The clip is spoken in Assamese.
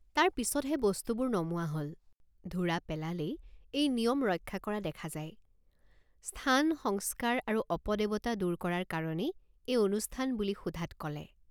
তাৰ পিচতহে বস্তুবোৰ নমোৱা হল। তাৰ পিচতহে বস্তুবোৰ নমোৱা হল। ধুৰা পেলালেই এই নিয়ম ৰক্ষা কৰা দেখা যায় স্থানসংস্কাৰ আৰু অপদেৱতা দূৰ কৰাৰ কাৰণেই এই অনুষ্ঠান বুলি সোধাত কলে।